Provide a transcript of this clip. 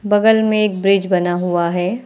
बगल में एक ब्रिज बना हुआ है।